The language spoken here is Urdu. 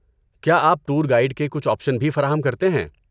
کیا آپ ٹور گائیڈ کے کچھ آپشن بھی فراہم کرتے ہیں؟